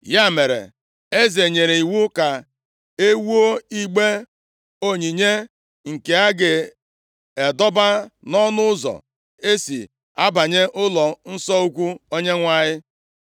Ya mere, eze nyere iwu ka e wuo igbe onyinye, nke a ga-adọba nʼọnụ ụzọ e si abanye ụlọnsọ ukwu Onyenwe anyị.